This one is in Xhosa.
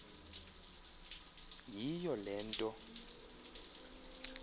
yiyo le nto